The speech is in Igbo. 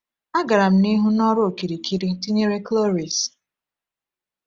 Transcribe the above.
A gara m n’ihu n’ọrụ okirikiri tinyere Cloris.